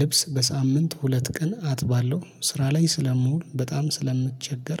ልብስ በሳምንት ሁለት ቀን አጥባለሁ ስራ ላይ ስለምውል በጣም ስለምቸገር